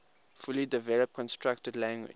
fully developed constructed language